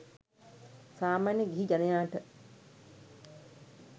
සාමාන්‍ය ගිහි ජනයාට